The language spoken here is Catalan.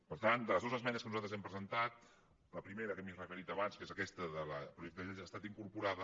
per tant de les dues esmenes que nosaltres hem pre·sentat la primera que m’hi he referit abans que és aquesta del projecte de llei ha estat incorporada